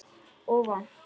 Og vont.